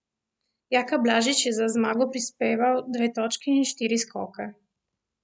Jaka Blažič je za zmago prispeval dve točki in štiri skoke.